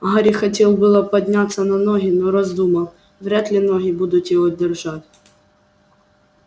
гарри хотел было подняться на ноги но раздумал вряд ли ноги будут его держать